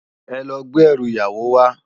Èlò gbé èrú iyáwó wá